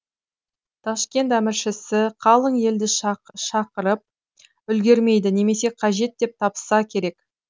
ташкент әміршісі қалың елді шақырып үлгермейді немесе қажет деп таппаса керек